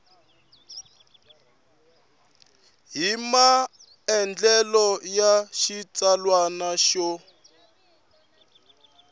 hi maandlalelo ya xitsalwana yo